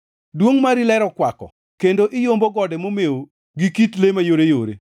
Duongʼ mari ler okwako kendo iyombo gode momew gi kit le mayoreyore.